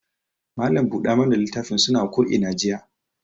Mallam buɗa mana litafin suna ko ina jiya.